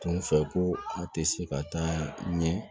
Tun fɛ ko a tɛ se ka taa ɲɛ